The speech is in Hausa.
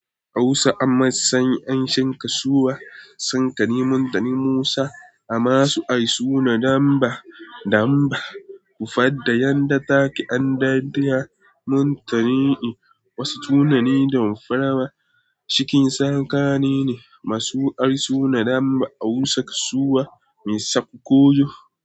Hausa amma sani, an sha kasuwa. Sankani, muntani Musa, amasu ai suna damba, damba. Kufadda yadda take an daddaya muntani'i. Wasu tunani dam farawa, cikin sanka ne ne. Masu ari suna damba Hausa kasuwa, mai sakko kojo.